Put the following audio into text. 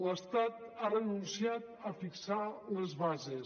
l’estat ha renunciat a fixar les bases